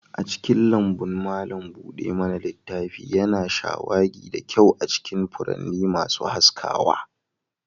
A cikin lambun, malam buɗe mana littafi yana shawagi da kyau a cikin furanni masu haskawa.